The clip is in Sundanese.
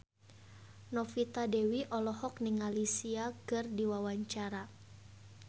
Novita Dewi olohok ningali Sia keur diwawancara